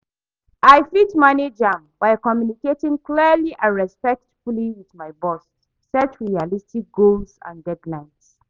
I fit manage am by communicating clearly and respectfully with my boss, set realistic goals and deadlines.